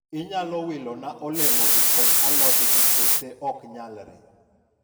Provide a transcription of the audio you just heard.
inyalo wila na olemo gi kod alod gi kose ok nyalre?